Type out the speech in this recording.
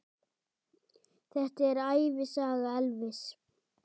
Þetta er ævisaga Elvis!